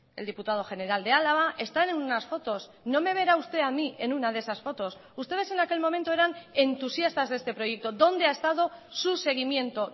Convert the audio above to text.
el diputado general de álava están en unas fotos no me verá usted a mí en una de esas fotos ustedes en aquel momento eran entusiastas de este proyecto dónde ha estado su seguimiento